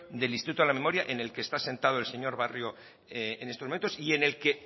del instituto de la memoria en el que está sentado el señor barrio en estos momentos y en el que